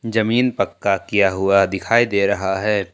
जमीन पक्का किया हुआ दिखाई दे रहा है।